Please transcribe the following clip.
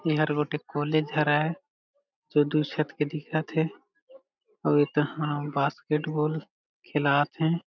एहर गोटेक कॉलेज हरय जो दू छत के दिखत हे अउ ए तहा बास्केट बॉल खेलात हे।